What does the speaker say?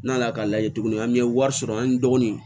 N'a nana k'a lajɛ tuguni an bɛ wari sɔrɔ an dɔgɔninw